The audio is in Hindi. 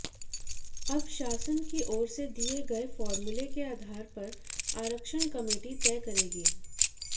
अब शासन की ओर से दिए गए फार्मूले के आधार पर आरक्षण कमेटी तय करेगी